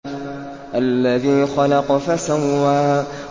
الَّذِي خَلَقَ فَسَوَّىٰ